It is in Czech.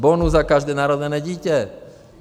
Bonus za každé narozené dítě!